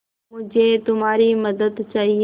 मुझे तुम्हारी मदद चाहिये